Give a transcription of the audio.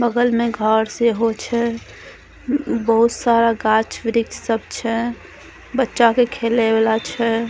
बगल मे घर से हो छै बहुत सारा गाछ-वृक्ष सब छै बच्चा के खेले वाला छै।